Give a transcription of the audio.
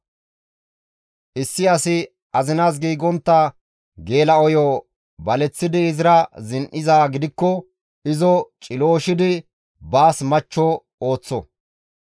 «Issi asi azinas giigontta geela7oyo baleththidi izira zin7izaa gidikko izo cilooshidi baas machcho ekko.